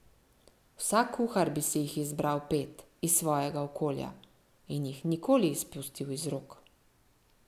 Vsak kuhar bi si jih izbral pet, iz svojega okolja, in jih nikoli izpustil iz rok.